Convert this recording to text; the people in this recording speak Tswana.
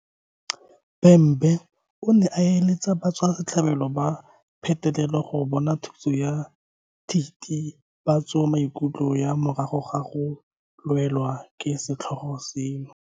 Bhembe o ne a eletsa batswasetlhabelo ba petelelo go bona thuso ya thitibatsomaikutlo ya morago ga go welwa ke setlhogo seno.